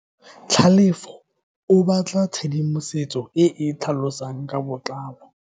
Tlhalefo o batla tshedimosetso e e tlhalosang ka botlalo.